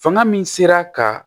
Fanga min sera ka